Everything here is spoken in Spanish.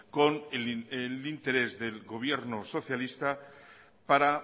con el interés del gobierno socialista para